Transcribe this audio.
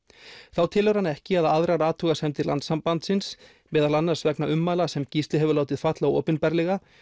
þá telur hann ekki að aðrar athugasemdir Landssambandsins meðal annars vegna ummæla sem Gísli hefur látið falla